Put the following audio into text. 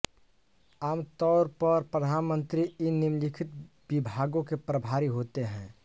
आम तौरपर प्रधानमन्त्री इन निम्नलिखित विभागों के प्रभारी होते हैं